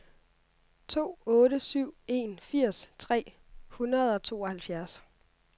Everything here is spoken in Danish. to otte syv en firs tre hundrede og tooghalvfjerds